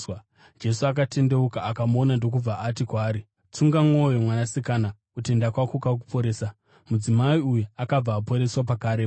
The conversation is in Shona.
Jesu akatendeuka akamuona ndokubva ati kwaari, “Tsunga mwoyo mwanasikana, kutenda kwako kwakuporesa.” Mudzimai uyu akabva aporeswa pakarepo.